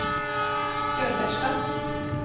Sköllersta